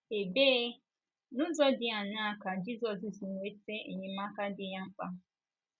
Ebee, n’ụzọ dị aṅaa ka Jizọs si nweta enyemaka dị ya mkpa?